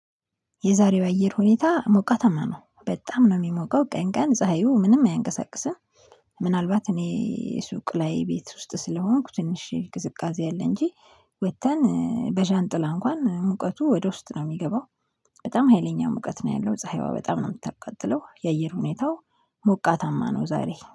የዛሬው አየር ሁኔታ ሞቃተማ ነው በጣም ነው የሚሞቀው ቀን ቀን ፀሀዩ ምንም አያንቀሳቅስም። ምናልባት እኔ ሱቅ ላይ ቤት ውስጥ ስለሆንኩ ትንሽ ግዝቃዜ አለ እንጂ ወጥተን በዣንጥላ እንኳን ሙቀቱ ወደ ውስጥ ነው የሚገባው። በጣም ሀይለኛ ሙቀት ነው ያለው ፀሀይዋ በጣም ነው የምታቀጥለው የአየር ሁኔታው። ሞቃታማ ነው ዛሬ